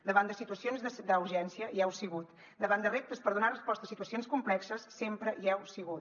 davant de situacions d’urgència hi heu sigut davant de reptes per donar resposta a situacions complexes sempre hi heu sigut